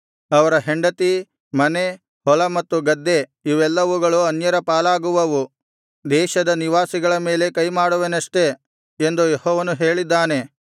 ಅವರ ಹೆಂಡತಿ ಮನೆ ಹೊಲ ಮತ್ತು ಗದ್ದೆ ಇವೆಲ್ಲವುಗಳು ಅನ್ಯರ ಪಾಲಾಗುವವು ದೇಶದ ನಿವಾಸಿಗಳ ಮೇಲೆ ಕೈಮಾಡುವೆನಷ್ಟೆ ಎಂದು ಯೆಹೋವನು ಹೇಳಿದ್ದಾನೆ